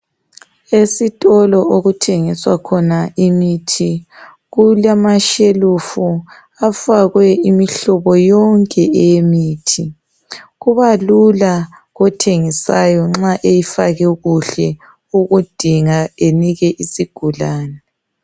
Esitolo okuthengiswa khona imithi kulamashelufu afakwe imihlobo yonke eyemithi. Kuba lula kothengisayo nxa eyifake kuhle ukudinga enika isigulani.